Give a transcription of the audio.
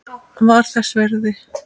Var þess virði!